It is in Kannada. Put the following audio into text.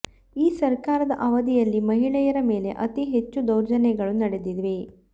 ಈ ಸರಕಾರದ ಅವಧಿಯಲ್ಲಿ ಮಹಿಳೆಯರ ಮೇಲೆ ಅತೀ ಹೆಚ್ಚು ದೌರ್ಜನ್ಯಗಳು ನಡೆದಿವೆ